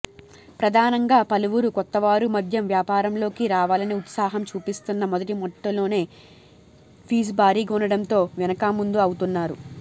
ప్రధానంగా పలువురు కొత్తవారు మద్యం వ్యాపారంలోకి రావాలని ఉత్సాహం చూపిస్తున్నా మొదటి మెట్టులోనే ఫీజు భారీగా ఉండడంతో వెనుకాముందు అవుతున్నారు